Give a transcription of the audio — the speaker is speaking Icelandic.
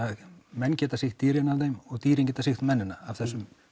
menn geta sýkt dýrin af þeim og dýrin geta sýkt mennina af þessum